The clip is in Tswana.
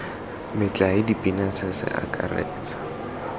metlae dipina se se akaretsa